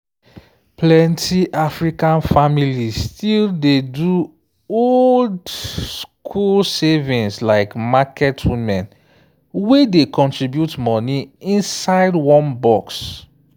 plenty african families still dey do old-school savings like market women wey dey contribute money inside one box.